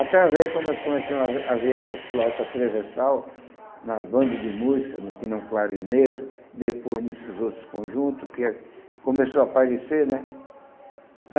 Através, quando nós começamos a ver a ver essas flautas transversal nas bandas de música, no Cla no clarinete, depois nesses outros conjuntos que começou a aparecer, né?